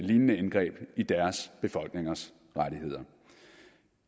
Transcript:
lignende indgreb i deres befolkningers rettigheder